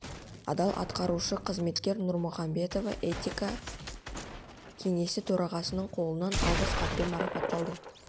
адал атқарушы қызметкер нұрмұхамбетова этика кеңесі төрағасының қолынан алғыс хатпен марапатталды